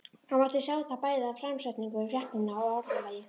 Það mátti sjá það bæði af framsetningu fréttanna og orðalagi.